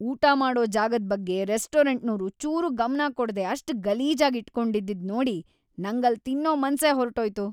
ಊಟ ಮಾಡೋ ಜಾಗದ್‌ ಬಗ್ಗೆ ರೆಸ್ಟೋರೆಂಟ್ನೋರು ಚೂರೂ ಗಮನ ಕೊಡ್ದೇ ಅಷ್ಟ್ ಗಲೀಜಾಗ್‌ ಇಟ್ಕೊಂಡಿದ್ದಿದ್‌ ನೋಡಿ ನಂಗಲ್ಲ್ ತಿನ್ನೋ ಮನ್ಸೇ ಹೊರ್ಟೋಯ್ತು.